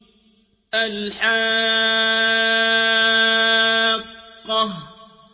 الْحَاقَّةُ